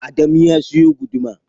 Adamu ya siyo guduma.